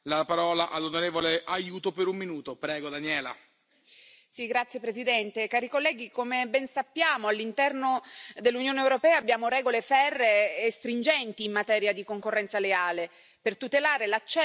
Signor Presidente, onorevoli colleghi, come ben sappiamo, all'interno dell'Unione europea abbiamo regole ferree e stringenti in materia di concorrenza leale per tutelare l'accesso senza discriminazioni ai servizi per tutte le compagnie.